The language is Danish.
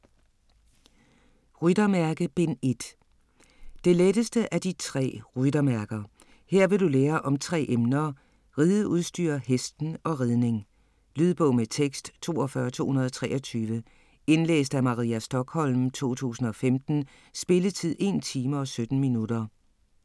Ryttermærke: Bind 1 Det letteste af de tre ryttermærker. Her vil du lære om tre emner; rideudstyr, hesten og ridning. Lydbog med tekst 42223 Indlæst af Maria Stokholm, 2015. Spilletid: 1 time, 17 minutter.